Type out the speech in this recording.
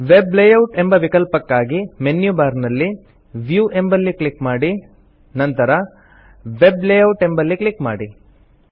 web layout ಎಂಬ ವಿಕಲ್ಪಕ್ಕಾಗಿ menu bar ನಲ್ಲಿ ವ್ಯೂ ಎಂಬಲ್ಲಿ ಕ್ಲಿಕ್ ಮಾಡಿ ನಂತರ ವೆಬ್ ಲೇಯೌಟ್ ಎಂಬಲ್ಲಿ ಕ್ಲಿಕ್ ಮಾಡಿ